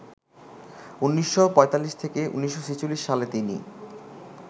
১৯৪৫-১৯৪৬ সালে তিনি